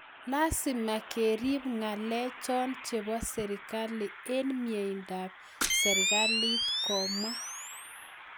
"Lazima kerip ngalek cho chebo serikali eng mieindo ap serikalit", komwaaa